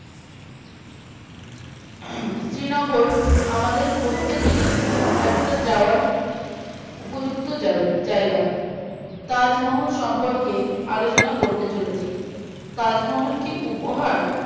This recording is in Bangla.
হম শ্রীনগর আমাদের প্রত্যেকেরই একটা যাওয়ার উপযুক্ত জায়গা তাজমহল সম্পর্কে আলোচনা করতে চলেছি তাজমহল কি উপহার